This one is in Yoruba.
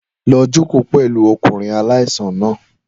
Lọ jókòó pẹ̀lú ọkùnrin aláìsàn náà.